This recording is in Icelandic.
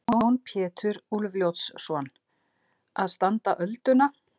Jón Pétur Úlfljótsson: Að standa ölduna?